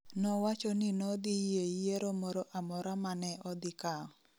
Nowacho ni nodhi yie yiero moro amora ma ne odhikao